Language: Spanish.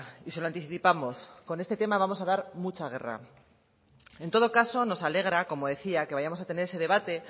y se lo anticipamos con este tema vamos a dar mucha guerra en todo caso nos alegra como decía que vayamos a tener ese debate